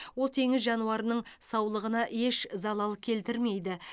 ол теңіз жануарының саулығына еш залал келтірмейді